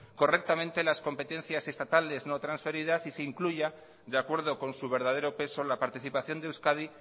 correctamente las competencias estatales no transferidas y se incluya de acuerdo con su verdadero peso la participación de euskadi